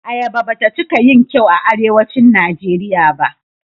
Ayaba bata cika yin kyau a Arewacin Najeriya ba.